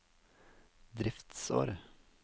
driftsår